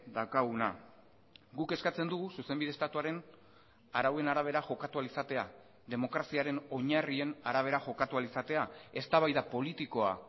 daukaguna guk eskatzen dugu zuzenbide estatuaren arauen arabera jokatu ahal izatea demokraziaren oinarrien arabera jokatu ahal izatea eztabaida politikoa